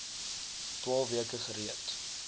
twaalf weke gereed